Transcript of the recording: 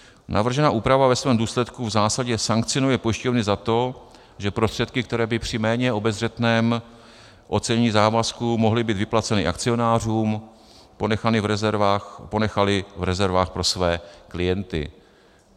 Navržená úprava ve svém důsledku v zásadě sankcionuje pojišťovny za to, že prostředky, které by při méně obezřetném ocenění závazků mohly být vyplaceny akcionářům, ponechaly v rezervách pro své klienty.